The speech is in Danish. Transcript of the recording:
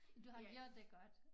Du har gjort det godt